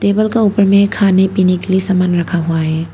Table का ऊपर में खाने पीने के लिए सामान रखा हुआ है।